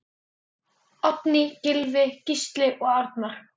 Oddný, Gylfi, Gísli og Arnar.